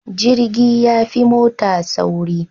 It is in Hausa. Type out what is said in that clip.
Jirgi yafi mota sauri